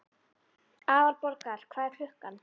Aðalborgar, hvað er klukkan?